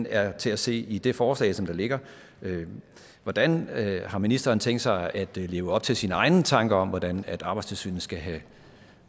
er til at se i det forslag der ligger hvordan har ministeren tænkt sig at leve op til sine egne tanker om hvordan arbejdstilsynet skal have